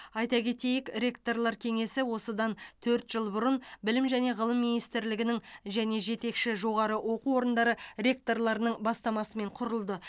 айта кетейік ректорлар кеңесі осыдан төрт жыл бұрын білім және ғылым министрлігінің және жетекші жоғары оқу орындары ректорларының бастамасымен құрылды